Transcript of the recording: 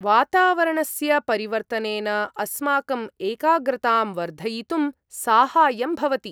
वातावरणस्य परिवर्तनेन अस्माकम् एकाग्रतां वर्धयितुं साहाय्यं भवति।